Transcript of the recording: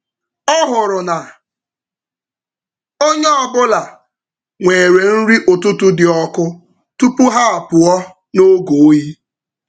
Ọ hụrụ na onye ọ bụla nwere nri ụtụtụ dị ọkụ tupu ha apụọ n’oge oyi.